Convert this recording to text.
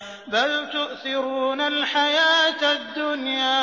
بَلْ تُؤْثِرُونَ الْحَيَاةَ الدُّنْيَا